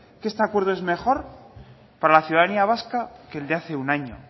que este acuerdo es mejor para la ciudadanía vasca que el de hace un año